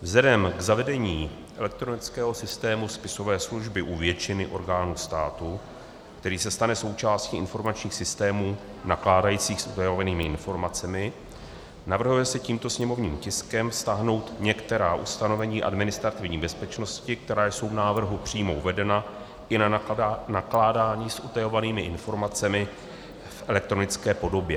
Vzhledem k zavedení elektronického systému spisové služby u většiny orgánů státu, který se stane součástí informačních systémů nakládajících s utajovanými informacemi, navrhuje se tímto sněmovním tiskem vztáhnout některá ustanovení administrativní bezpečnosti, která jsou v návrhu přímo uvedena, i na nakládání s utajovanými informacemi v elektronické podobě.